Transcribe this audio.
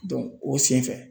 o senfɛ